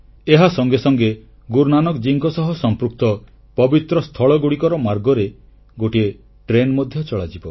ଏହା ସଙ୍ଗେ ସଙ୍ଗେ ଗୁରୁ ନାନକଙ୍କ ସହ ସମ୍ପୃକ୍ତ ପବିତ୍ର ସ୍ଥଳଗୁଡ଼ିକର ମାର୍ଗରେ ଗୋଟିଏ ଟ୍ରେନ ମଧ୍ୟ ଚଳାଚଳ କରିବ